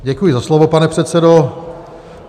Děkuji za slovo, pane předsedo.